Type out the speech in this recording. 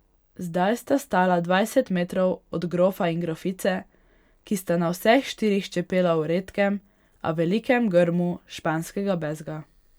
Zdaj sta stala dvajset metrov od grofa in grofice, ki sta na vseh štirih čepela v redkem, a velikem grmu španskega bezga.